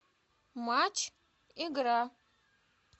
матч игра